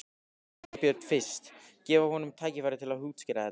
Sveinbjörn fyrst, gefa honum tækifæri til að útskýra þetta.